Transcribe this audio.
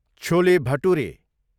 chole bhature